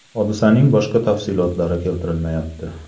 Hodisaning boshqa tafsilotlari keltirilmayapti.